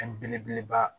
Fɛn belebeleba